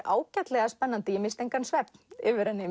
ágætlega spennandi ég missti engan svefn